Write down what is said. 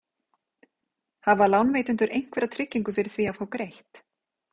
Hafa lánveitendur einhverja tryggingu fyrir því að fá greitt?